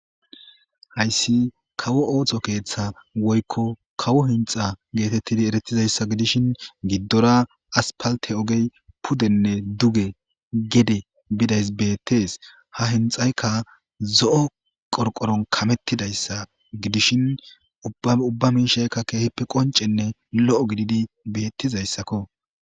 Hayssi kawo ooththo keeththa woykko kawo hinxa geetettidi eretizayssa gidishin giddora aspalte ogey pudenne duge gede bidays bettees ha hinxayka zo'o qorqoron kamettidayssa gidishin ubba miishaykka keehippe qoncenne lo'o gididi bettizayssakko..